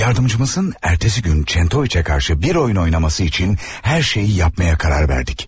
Yardımcımızın ertesi gün Çentoviç'e karşı bir oyun oynaması için her şeyi yapmaya karar verdik.